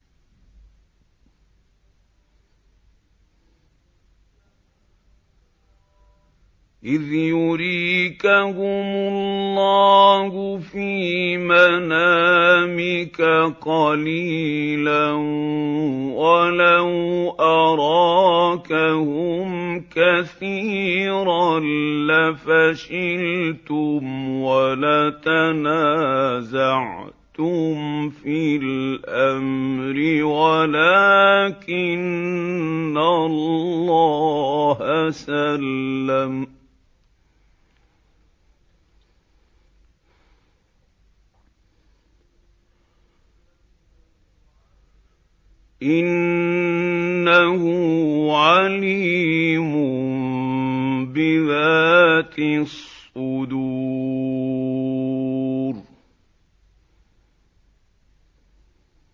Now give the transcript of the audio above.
إِذْ يُرِيكَهُمُ اللَّهُ فِي مَنَامِكَ قَلِيلًا ۖ وَلَوْ أَرَاكَهُمْ كَثِيرًا لَّفَشِلْتُمْ وَلَتَنَازَعْتُمْ فِي الْأَمْرِ وَلَٰكِنَّ اللَّهَ سَلَّمَ ۗ إِنَّهُ عَلِيمٌ بِذَاتِ الصُّدُورِ